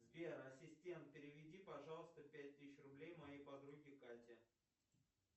сбер ассистент переведи пожалуйста пять тысяч рублей моей подруге кате